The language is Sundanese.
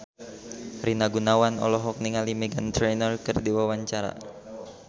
Rina Gunawan olohok ningali Meghan Trainor keur diwawancara